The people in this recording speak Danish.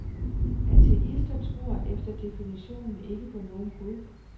Ateister tror efter definitionen ikke på nogen gud.